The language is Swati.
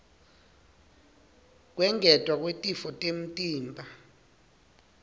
kwengetwa kwetitfo temtimba